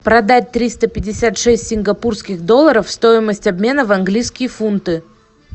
продать триста пятьдесят шесть сингапурских долларов стоимость обмена в английские фунты